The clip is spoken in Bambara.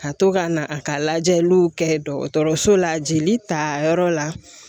Ka to ka na a ka lajɛliw kɛ dɔgɔtɔrɔso la jeli tayɔrɔ la